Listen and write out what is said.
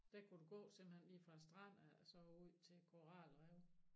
Der kunne du gå simpelthen lige fra strand af og så ud til koralrev